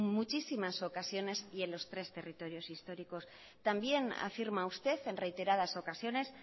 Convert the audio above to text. muchísimas ocasiones y en los tres territorios históricos también afirma usted en reiteradas ocasiones